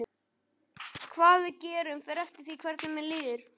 Hvað við gerum fer eftir því hvernig mér líður.